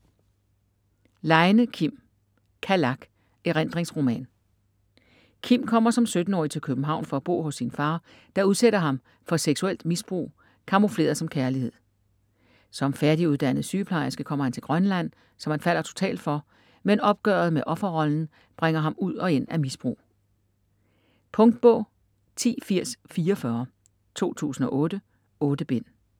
Leine, Kim: Kalak: erindringsroman Kim kommer som 17-årig til København for at bo hos sin far, der udsætter ham for seksuelt misbrug camoufleret som kærlighed. Som færdiguddannet sygeplejerske kommer han til Grønland, som han falder totalt for, men opgøret med offerrollen bringer ham ud og ind af misbrug. Punktbog 108044 2008. 8 bind.